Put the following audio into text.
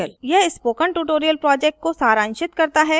यह spoken tutorial project को सारांशित करता है